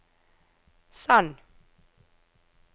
send